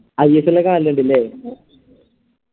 ISL ലോക്കെ കാണലിണ്ടല്ലേ